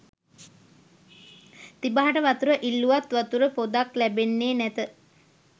තිබහට වතුර ඉල්ලූවත් වතුර පොදක් ලැබෙන්නේ නැත